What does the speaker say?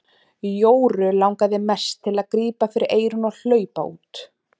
Jóru langaði mest til að grípa fyrir eyrun og hlaupa út.